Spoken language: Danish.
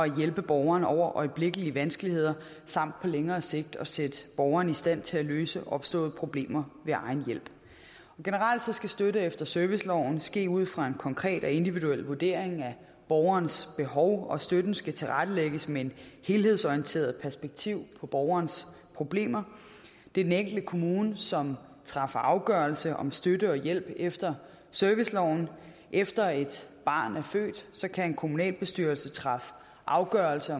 hjælpe borgeren over øjeblikkelige vanskeligheder samt på længere sigt at sætte borgeren i stand til at løse opståede problemer ved egen hjælp generelt skal støtte efter serviceloven ske ud fra en konkret og individuel vurdering af borgerens behov og støtten skal tilrettelægges med et helhedsorienteret perspektiv på borgerens problemer det er den enkelte kommune som træffer afgørelse om støtte og hjælp efter serviceloven efter et barn er født kan en kommunalbestyrelse træffe afgørelse